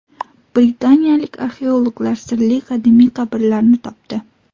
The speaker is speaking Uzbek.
Britaniyalik arxeologlar sirli qadimiy qabrlarni topdi.